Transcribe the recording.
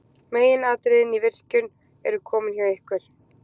Meginatriðin í virkjun eru komin hjá ykkur.